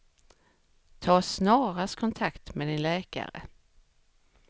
Ta snarast kontakt med din läkare.